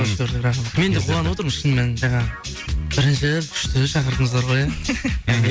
қош көрдік рахмет мен де қуанып отырмын шынымен жаңағы бірінші күшті шақырдыңыздар ғой иә мхм